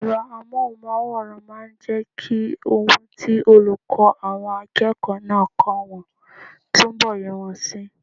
Ẹ̀rọ amóhùnmáwòrán máa n jẹ́ kí ohun tí olùkọ́ àwọn akẹ́kọ̀ọ́ náà kọ́ wọn túnbọ̀ yé wọn si